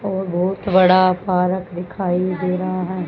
और बहोत बड़ा पारक दिखाई दे रहा है।